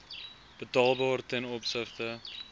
betaalbaar ten opsigte